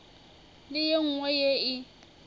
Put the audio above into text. le ye nngwe ye e